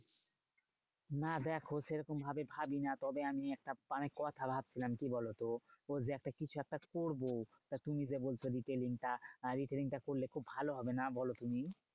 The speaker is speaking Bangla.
না দেখো সেরকম ভাবে ভাবিনা তবে আমি একটা মানে কথা ভাবছিলাম, কি বোলোত? ও যে একটা কিছু একটা করবো তা তুমি যে বলছো ratailing টা আহ retailing টা করলে খুব ভালো হবে না? বোলো তুমি?